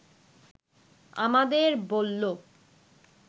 আমাদের বলল